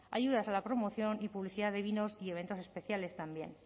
ayudas a la promoción y publicidad de vinos y eventos especiales también